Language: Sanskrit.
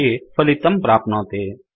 इति फलितं प्राप्नोति